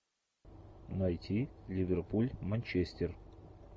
найти ливерпуль манчестер